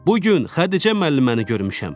Bu gün Xədicə müəlliməni görmüşəm.